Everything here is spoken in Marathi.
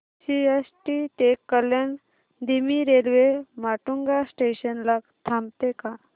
सीएसटी ते कल्याण धीमी रेल्वे माटुंगा स्टेशन ला थांबते का